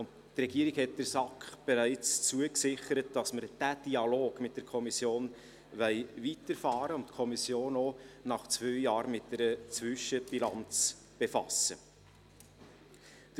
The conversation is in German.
Die Regierung hat der SAK bereits zugesichert, dass wir diesen Dialog mit der Kommission weiterführen und die Kommission auch nach zwei Jahren mit einer Zwischenbilanz befassen wollen.